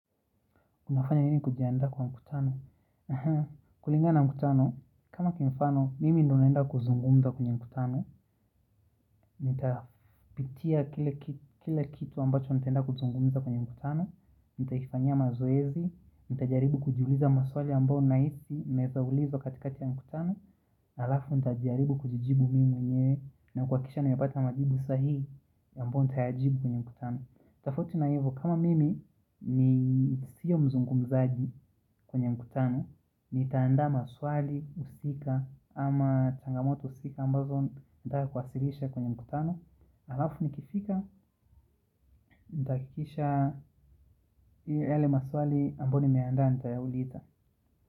Unafanya nini kujiandaa kwa mkutano? Kulingana mkutano, kama kimfano, mimi ndo naenda kuzungumza kwenye mkutano. Nitapitia kila kitu ambacho nitaenda kuzungumza kwenye mkutano. Nitaifanyia mazoezi, nitajaribu kujiuliza maswali ambao nahisi, naweza ulizwa katikati ya mkutano, alafu nitajaribu kuji jibu mimi mwenyewe, na kuhakikisha nimepata majibu sahihi ambayo nitayajibu kwenye mkutano. Tafauti na hivyo, kama mimi ni siyo mzungumzaji, kwenye mkutano nitaandaa maswali, husika ama changamoto husika ambazo nataka kuwasilisha kwenye mkutano Alafu ni kifika, nitahakikisha yale maswali ambayo nimeaandaa nitayauliza.